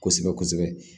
Kosɛbɛ kosɛbɛ